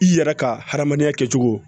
I yɛrɛ ka hadamadenya kɛcogo